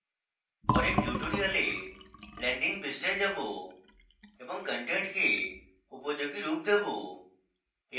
পরের tutorials landing পৃষ্ঠায় যাবো এবং content উপযোগী রূপ দেবো